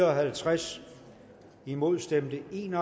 og halvtreds imod stemte en